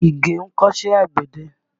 Ìgè ń kọ́ṣẹ́ àgbẹ̀dẹ